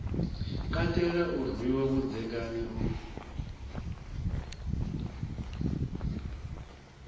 katela u rwiwa vhudzekani u